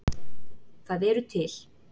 Það eru til